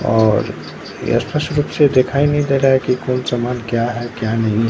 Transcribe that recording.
और ये स्पष्ट रूप से दिखाई नहीं दे रहा है कि कौन समान क्या है क्या नहीं।